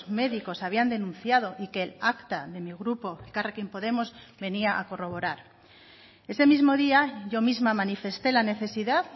médicos habían denunciado y que el acta de mi grupo elkarrekin podemos venía a corroborar ese mismo día yo misma manifesté la necesidad